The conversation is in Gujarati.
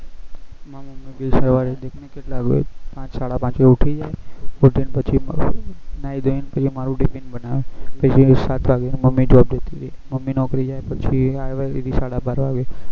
માર મમી બી સવારે પાંચ સાડા પાંચ એ ઉઠી જાય ઉઠીન પછી નાઈ ન ધોઈ ન પછી મારું ટીફીન બનાવે પછી જેવા સાત વાગે મમી job જતી રહે મમી નોકરી જાય પછી આવે સીધી સાડા બાર વાગે